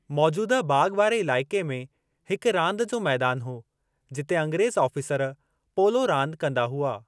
मौजूदह बाग़ वारे इलाइक़े में हिक रांदि जो मैदान हो, जिते अंग्रेज़ आफ़ीसर पोलो रांदि कंदा हुआ।